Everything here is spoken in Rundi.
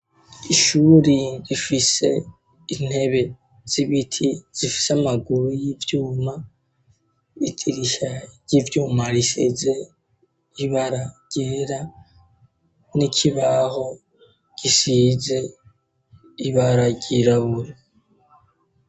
Ishuri rifise intebe z'ibiti zifise amaguru y'ivyuma idirisha ry'ivyuma risize ibara gera, n'ikibaho gisize ibara ryirabura.